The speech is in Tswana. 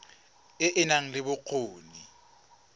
e e nang le bokgoni